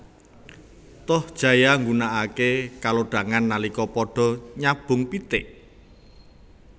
Tohjaya nggunakaké kalodhangan nalika padha nyabung pitik